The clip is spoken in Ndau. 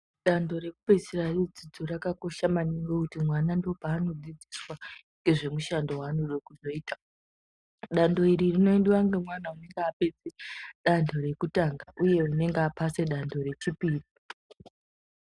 Danto rekupedzisira kwedzidzo rakakosha maningi, ngekuti mwana ndopaanodzidziswa ngemishando waanode kuzoita. Danto iri rinoendiwa ngemwana unonga apedze danto rekutanga, uye unenga aphase danto rechipiri.